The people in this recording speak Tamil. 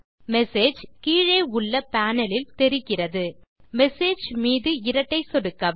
மெசேஜ் கீழே உள்ள பேனல் லில் தெரிகிறது மெசேஜ் மீது இரட்டை சொடுக்கவும்